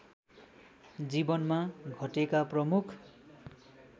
जिवनमा घटेका प्रमुख